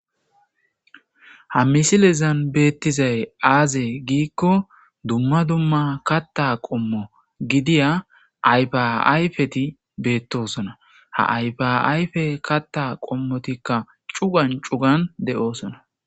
Ha misilezan beettizay aaze giikko dumma dumma katta qommo gidiya aypaayfeti beettosona ha ypayfe katta qommotikka cugan cugan de,oosona.